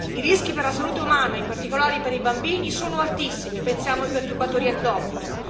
I rischi per la salute umana, in particolare per i bambini, sono altissimi, pensiamo ai perturbatori endocrini.